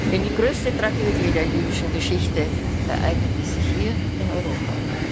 Denn die größte Tragödie der jüdischen Geschichte ereignete sich hier, in Europa.